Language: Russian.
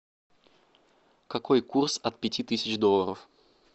какой курс от пяти тысяч долларов